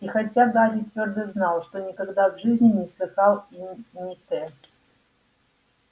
и хотя гарри твёрдо знал что никогда в жизни не слыхал имени т